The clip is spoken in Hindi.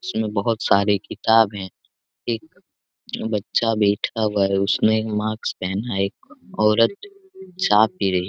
इसमें बहुत सारे किताब है एक बच्चा बैठका हुआ है उसने एक माक्स पहना है एक औरत चा पी रही है।